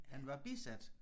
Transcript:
Han var bisat